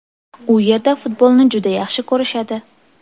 U yerda futbolni juda yaxshi ko‘rishadi.